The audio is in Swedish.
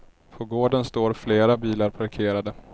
På gården står flera bilar parkerade.